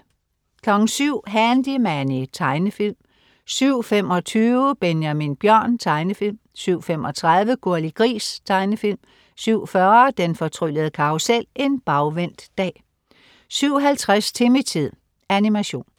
07.00 Handy Manny. Tegnefilm 07.25 Benjamin Bjørn. Tegnefilm 07.35 Gurli Gris. Tegnefilm 07.40 Den fortryllede karrusel. En bagvendt dag 07.50 Timmy-tid. Animation